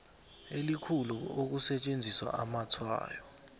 elikhulu ukusetjenziswa kwamatshwayo